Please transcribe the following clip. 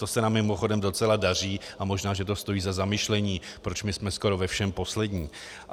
To se nám mimochodem docela daří a možná že to stojí za zamyšlení, proč my jsme skoro ve všem poslední.